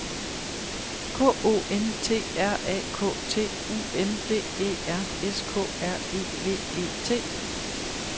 K O N T R A K T U N D E R S K R E V E T